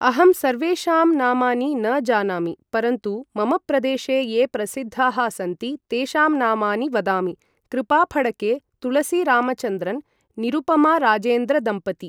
अहं सर्वेषाम् नामानि न जानामि परन्तु मम प्रदेशे ये प्रसिद्धाः सन्ति तेषां नामानि वदामि कृपाफड्के, तुळसीरामचन्द्रन्, निरुपमाराजेन्द्रदम्पति